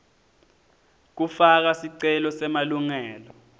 kufaka sicelo semalungelo